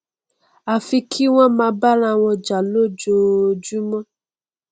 àfi kí wọn máa bá arawọn jà lójoojúmọ